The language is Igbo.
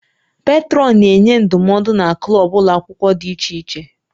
Petrọnụ na-enye ndụmọdụ na klọb ụlọ akwụkwọ dị iche iche